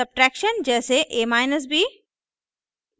subtraction: जैसे ab